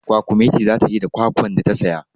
Kwakumeti za ta yi da kwakwan da ta saya.